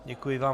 Děkuji vám.